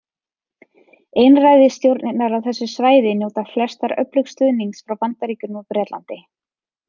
Einræðisstjórnirnar á þessu svæði njóta flestar öflugs stuðnings frá Bandaríkjunum og Bretlandi.